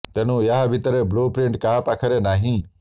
ତେଣୁ ଏହା ଭିତରର ବ୍ଲୁ ପ୍ରିଣ୍ଟ କାହା ପାଖରେ ନାହିଁ